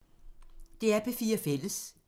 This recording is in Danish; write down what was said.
DR P4 Fælles